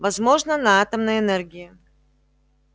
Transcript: возможно на атомной энергии